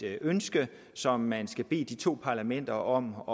er et ønske som man skal bede de to parlamenter om